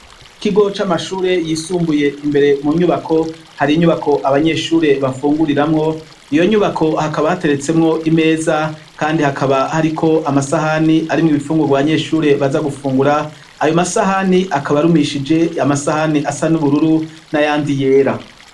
Ikigo c'amashure yisumbuye. Imbere mu nyubako hari inyubako abanyeshuri bafunguriramwo, iyo nyubako hakaba hateretsemwo imeza kandi hakaba hariko amasahani arimwo ibifunurwa vy' abanyeshuri baza gufungura, ayo masahani akaba arumishije amasahani asa n'ubururu n'ayandi yera.